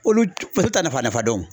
Olu paseke t'a nafa nafa dɔn.